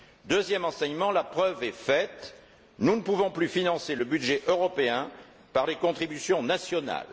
Deuxième enseignement la preuve en est faite, nous ne pouvons plus financer le budget européen par les contributions nationales.